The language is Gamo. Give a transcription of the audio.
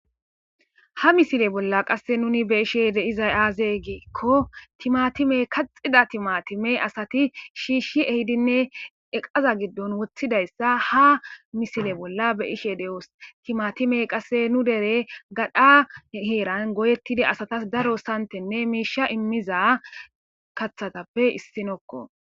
ha misile bolla qasse nuni beishe deizay aazee giikko timatime kaxida timatime asati shiishshi ehidinne eqaza giddon woththidayssa ha misile bolla beyishe de7oos timatime qasse nu dere gadha heeran goyettida asatas daro santenne miisha immiza kathatappe issinokko